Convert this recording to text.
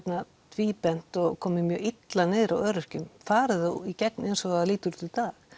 tvíbent og komið mjög illa niður á öryrkjum fari það í gegn eins og það lítur út í dag